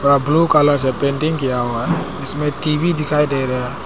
Blue colour से painting किया हुआ है इसमें टी_वी दिखाई दे रहा है।